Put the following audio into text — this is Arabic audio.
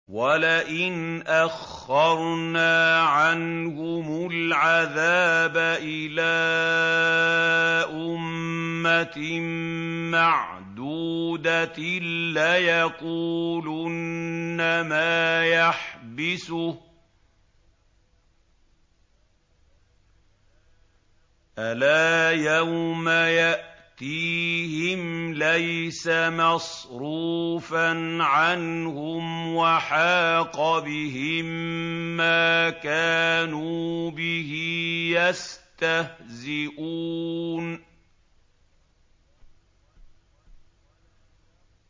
وَلَئِنْ أَخَّرْنَا عَنْهُمُ الْعَذَابَ إِلَىٰ أُمَّةٍ مَّعْدُودَةٍ لَّيَقُولُنَّ مَا يَحْبِسُهُ ۗ أَلَا يَوْمَ يَأْتِيهِمْ لَيْسَ مَصْرُوفًا عَنْهُمْ وَحَاقَ بِهِم مَّا كَانُوا بِهِ يَسْتَهْزِئُونَ